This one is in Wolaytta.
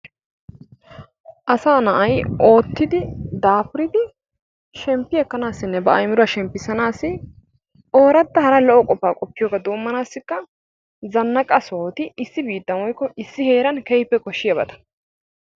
Asaa na'ay oottidi daafuriidi shemppi ekkanaassinne ba aymiruwa shemppissanaassi ooratta hara lo"o qofaa qoppiyoba doommanaassikka zanaqqa sohoti issi biittan woykko issi heeran keehippe koshshiyabata.